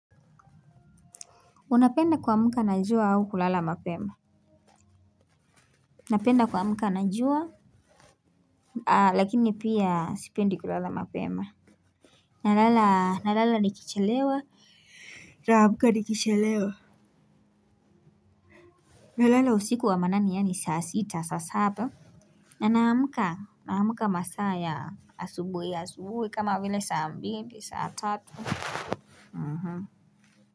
Unapenda kuamka na jua au kulala mapema? Napenda kuamka na jua. Lakini pia sipendi kulala mapema. Na lala nikichelewa, na amka nikichelewa. Na lala usiku wa manane yaani saa sita, saa saba na naamka masaa ya asubuhi asubuhi kama vile saa mbili saa tatu.